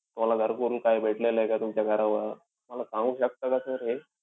तुम्हाला घरकुल काही भेटलेलं आहे का तुमच्या घरावर? मला सांगू शकता का sir हे?